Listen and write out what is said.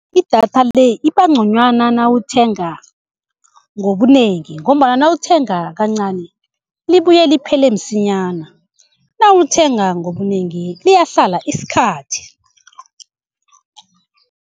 Idatha le iba nconywana nawuthenga ngobunengi, ngombana nawuthenga kancani libuye liphele msinyana nawulithenga ngobunengi liyahlala isikhathi.